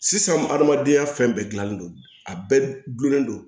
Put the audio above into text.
Sisan adamadenya fɛn bɛɛ gilanlen don a bɛɛ gulonlen don